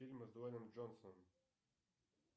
фильмы с дуэйном джонсом